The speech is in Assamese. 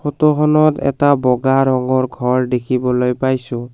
ফটোখনত এটা বগা ৰঙৰ ঘৰ দেখিবলৈ পাইছোঁ।